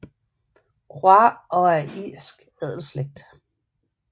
Croix og af en irsk adelsslægt